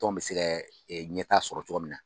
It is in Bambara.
Tɔn bi se kɛ ɲɛtaa sɔrɔ cogo min na